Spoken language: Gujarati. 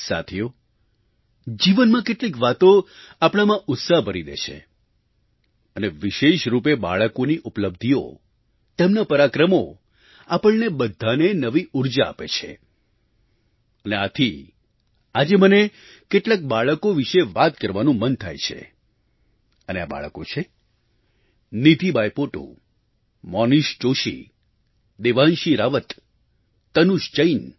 સાથીઓ જીવનમાં કેટલીક વાતો આપણામાં ઉત્સાહ ભરી દે છે અને વિશેષ રૂપે બાળકોની ઉપલબ્ધિઓ તેમનાં પરાક્રમો આપણને બધાંને નવી ઊર્જા આપે છે અને આથી આજે મને કેટલાંક બાળકો વિશે વાત કરવાનું મન થાય છે અને આ બાળકો છે નીધિ બાઇપોટુ મોનીષ જોશી દેવાંશી રાવત તનુષ જૈન